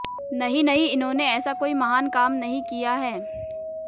नहीं नहीं इन्होंने ऐसा कोई महान काम नहीं किया है